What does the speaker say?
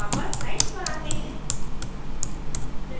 वापस स्लाइड्स पर आते हैं